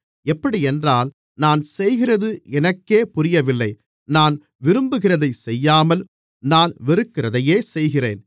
எப்படியென்றால் நான் செய்கிறது எனக்கே புரியவில்லை நான் விரும்புகிறதைச் செய்யாமல் நான் வெறுக்கிறதையே செய்கிறேன்